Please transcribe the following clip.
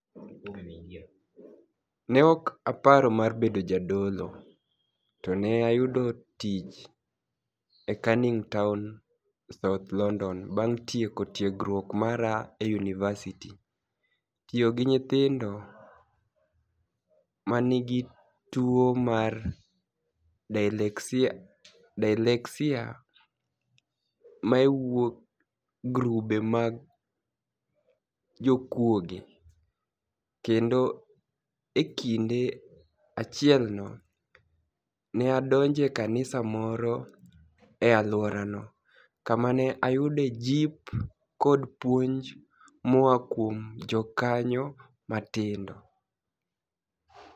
ni e ok aparo mar bedo jadolo, to ni e ayudo tich e Caniniinig Towni South Lonidoni banig' tieko tiegruok mara e yuniivasiti, tiyo gi niyithinido ma ni e niigi tuwo mar dyslexia ma ni e wuok e grube mag jokuoge, kenido e kinide achielno, ni e adonijo e kaniisa moro e alworano, kama ni e ayudoe jip kod puonij moa kuom jokaniyo matinido